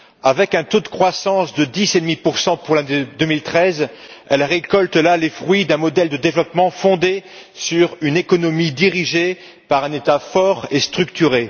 Avec un taux de croissance de 10,5 pour l'année 2013, elle récolte les fruits d'un modèle de développement fondé sur une économie dirigée par un État fort et structuré.